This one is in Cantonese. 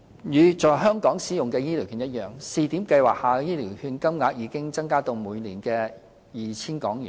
與在香港使用的醫療券一樣，試點計劃下的醫療券金額已增加至每年 2,000 港元。